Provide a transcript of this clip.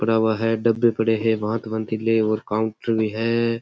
पड़ा हुआ है डब्बा पड़े हुए है भात बतिले है और काउंटर भी है।